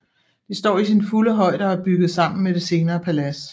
Det står i sin fulde højde og er bygget sammen med det senere palads